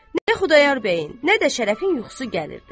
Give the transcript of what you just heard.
Nə Xudayar bəyin, nə də Şərəfin yuxusu gəlirdi.